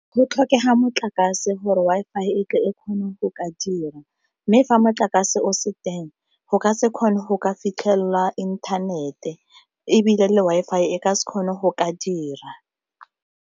Go tlhokega motlakase gore Wi-Fi e tle e kgone go ka dira, mme fa motlakase o se teng go ka se kgone go ka fitlhelelwa inthanete ebile le Wi-Fi e ka se kgone go ka dira.